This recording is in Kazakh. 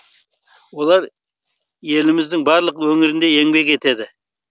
олар еліміздің барлық өңірінде еңбек етеді